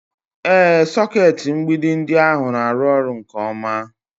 Ee, sọkeetị mgbidi ndị ahụ na-arụ ọrụ nke ọma